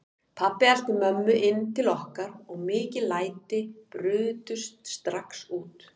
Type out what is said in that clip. Pabbi elti mömmu inn til okkar og mikil læti brutust strax út.